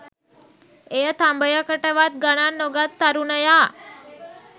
එය තඹයකටවත් ගණන් නොගත් තරුණයා